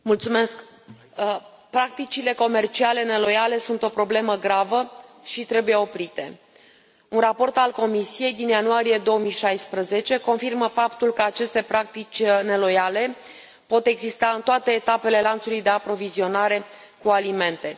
Domnule președinte, practicile comerciale neloiale sunt o problemă gravă și trebuie oprite. Un raport al Comisiei din ianuarie 2016 confirmă faptul că aceste practici neloiale pot exista în toate etapele lanțului de aprovizionare cu alimente.